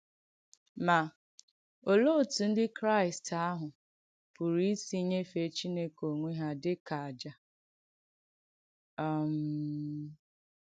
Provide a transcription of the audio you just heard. Mà, òlee òtù Ndí Kràị̀st àhụ̄ pùrù isì nyèfè Chìnèkè onwé hà dị ka “àjà”? um